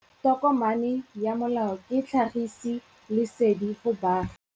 Tokomane ya molao ke tlhagisi lesedi go baagi.